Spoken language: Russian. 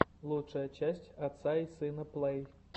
лучшая часть отца и сына плэй